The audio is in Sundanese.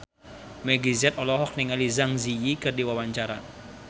Meggie Z olohok ningali Zang Zi Yi keur diwawancara